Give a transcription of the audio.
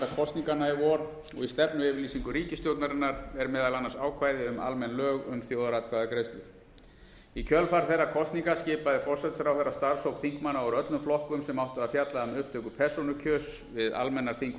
kosninganna í vor og í stefnuyfirlýsingu ríkisstjórnarinnar er meðal annars ákvæði um almenn lög um þjóðaratkvæðagreiðslur í kjölfar þeirra kosninga skipaði forsætisráðherra starfshóp þingmanna úr öllum flokkum sem áttu að fjalla um upptöku persónukjörs við almennar þing og